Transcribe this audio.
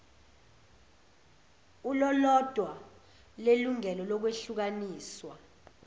olulodwa lelungelo lokwehlukaniswa